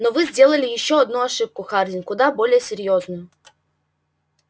но вы сделали ещё одну ошибку хардин куда более серьёзную